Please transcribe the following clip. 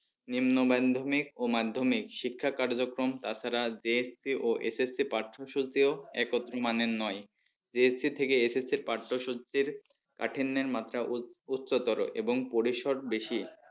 নিম্ন madhyamik ও madhyamik শিক্ষা কার্যক্রম তাছাড়া JSC ও SSC পাঠ্যসূচিও একত্র মানের নয় JSC থেকে SSC পাঠ্যসূচির কাঠিন্যের মাত্রা উচ্চতর এবং পরিশর বেশি।